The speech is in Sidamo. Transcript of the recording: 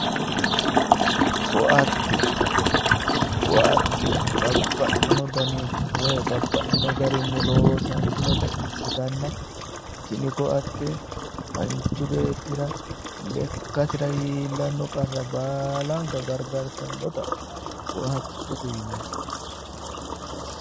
Koatte, koatte babbaxino danni woyi babbaxino garinni loosantinotta ikkittanna tinni koatte manchi beettira lekkasira iillano qarra baallanka gargartanotta koattete yinnanni